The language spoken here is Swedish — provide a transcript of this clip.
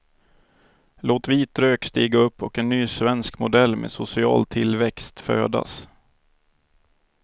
Låt vit rök stiga upp och en ny svensk modell med social tillväxt födas.